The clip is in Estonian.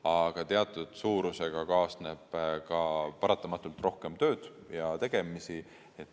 Aga teatud suurusega kaasneb ka paratamatult rohkem tööd ja tegemisi.